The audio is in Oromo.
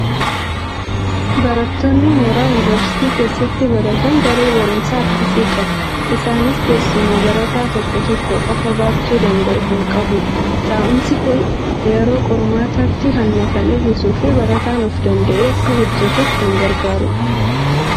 Barattoonni mooraa yuuniversiitii keessatti baratan, daree barumsaa akkasii qabu. Innis teessuma barataa tokko tokko qofaa baachuu danda'u kan qabudha. Taa'umsi kun yeroo qormaataatti hanna kan hir'isuu fi barataan of danda'ee akka hojjetuuf kan gargaarudha.